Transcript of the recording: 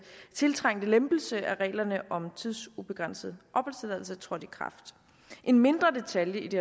tiltrængte lempelse af reglerne om tidsubegrænset opholdstilladelse træder i kraft en mindre detalje i det